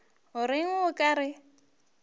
o reng o ka re